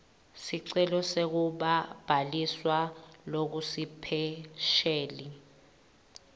sicelo sekubhaliswa lokusipesheli